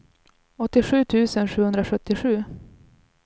åttiosju tusen sjuhundrasjuttiosju